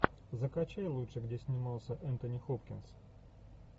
закачай лучше где снимался энтони хопкинс